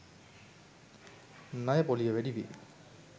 ණය පොලිය වැඩිවේ.